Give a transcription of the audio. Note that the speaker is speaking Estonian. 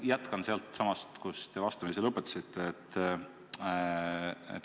Jätkan sealtsamast, kus te vastamise lõpetamise.